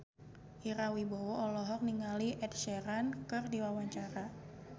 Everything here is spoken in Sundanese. Ira Wibowo olohok ningali Ed Sheeran keur diwawancara